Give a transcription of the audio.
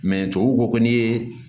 tubabuw ko ko n'i ye